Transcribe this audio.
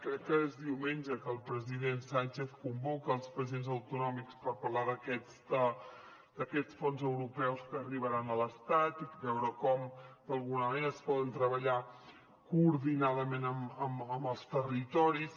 crec que és diumenge que el president sánchez convoca els presidents autonòmics per parlar d’aquests fons europeus que arribaran a l’estat i veure com d’alguna manera es poden treballar coordinadament amb els territoris